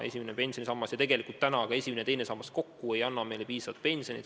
Esimene pensionisammas ja tegelikult ka esimene ja teine sammas kokku ei taga meile piisavalt suurt pensionit.